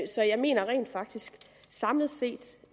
så jeg mener rent faktisk samlet set